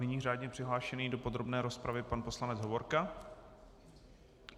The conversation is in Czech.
Nyní řádně přihlášený do podrobné rozpravy pan poslanec Hovorka.